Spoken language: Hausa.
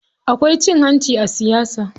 Akwai cin hanci a siyasa.